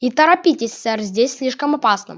и торопитесь сэр здесь слишком опасно